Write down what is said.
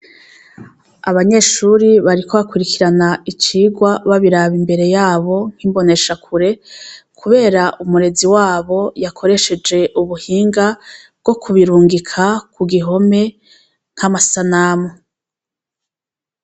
Abanyeshure bariko bakurikiran' icigwa babirab' imbere yabo n' imbonesha kure, kuber' umurezi wabo yakoreshej' ubuhinga bwo kubirungika kugihome nk' amasanamu.